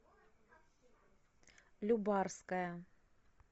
любарская